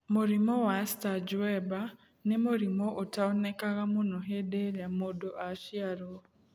Mũrimũ wa Sturge Weber nĩ mũrimũ ũtaonekanaga mũno hĩndĩ ĩrĩa mũndũ aciarũo.